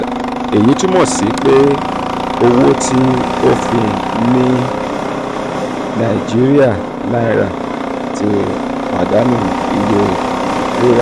eyi tumọ si pe owo ti ofin ni naijiria naira ti padanu iye rira.